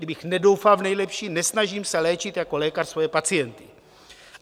Kdybych nedoufal v nejlepší, nesnažím se léčit jako lékař svoje pacienty.